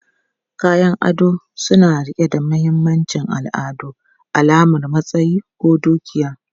Kayan ado suna riƙe da mahimmancin al'adu, alamar matsayi ko dukiya.